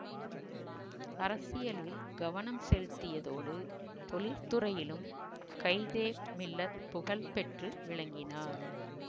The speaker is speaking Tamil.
அரசியலில் கவனம் செலுத்தியதோடு தொழிற்துறையிலும் கயிதெ மில்ல புகழ் பெற்று விளங்கினார்